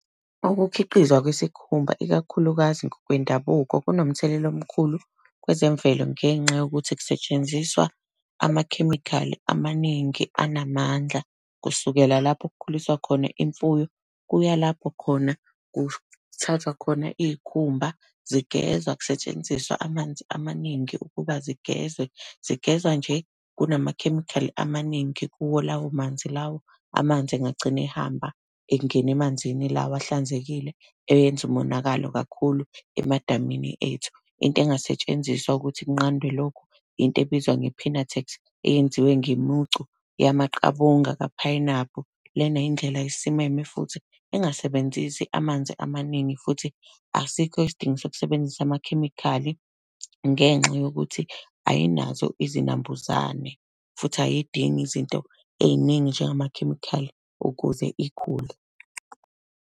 Ukukhiqizwa kwesikhumba ikakhulukazi ngokwendabuko kunomthelela omkhulu kwezemvelo ngenxa yokuthi kusetshenziswa amakhemikhali amaningi anamandla. Kusukela lapho kukhuliswa khona imfuyo, kuya lapho khona kuthathwa khona iy'khumba, zigezwa kusetshenziswa amanzi amaningi ukuba zigezwe. Zigezwa nje, kunamakhemikhali amaningi kuwo lawo manzi lawo, amanzi engagcina ehamba engena emanzini lawa ahlanzekile eyowenza umonakalo kakhulu emadamini ethu. Into engasetshenziswa ukuthi kunqandwe lokhu, into ebizwa nge-Pinatex, eyenziwe ngemucu, yamaqabunga kaphayinaphu. Lena yindlela esimeme futhi engasebenzisi amanzi amaningi, futhi asikho isidingo sokusebenzisa amakhemikhali ngenxa yokuthi ayinazo izinambuzane futhi ayidingi izinto ey'ningi njengamakhemikhali ukuze ikhule.